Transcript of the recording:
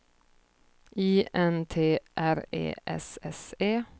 I N T R E S S E